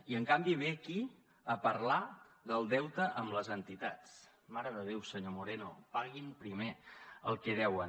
i en canvi ve aquí a parlar del deute amb les entitats mare de déu senyor moreno paguin primer el que deuen